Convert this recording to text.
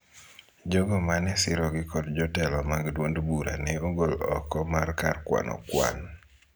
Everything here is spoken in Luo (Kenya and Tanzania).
Jogo ma ne sirogi kod jotelo mag duond bura ne ogol oko mar kar kwano kwan